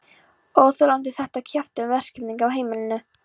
Óþolandi þetta kjaftæði um verkaskiptingu á heimilinu.